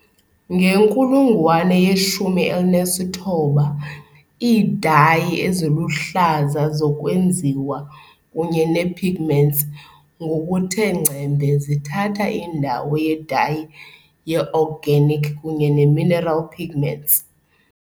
ngenkulungwane ye -19, iidayi eziluhlaza zokwenziwa kunye ne-pigments ngokuthe ngcembe zithatha indawo yedayi ye-organic kunye ne-mineral pigments.